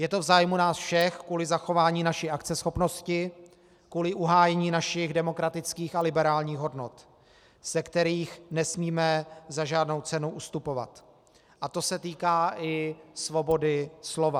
Je to v zájmu nás všech kvůli zachování naší akceschopnosti, kvůli uhájení našich demokratických a liberálních hodnot, ze kterých nesmíme za žádnou cenu ustupovat, a to se týká i svobody slova.